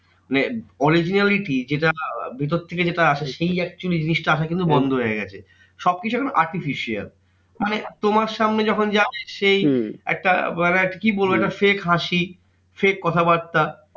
মানে originality যেটা ভেতর থেকে যেটা আসে সেই actually জিনিসটা আসা কিন্তু বন্ধ হয়ে গেছে। সবকিছু একটা artificial. মানে তোমার সামনে যখন যাবে সেই একটা মানে একটা fake হাসি, fake কথাবার্তা।